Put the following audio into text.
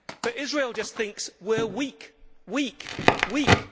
But Israel just thinks we are weak, weak, weak.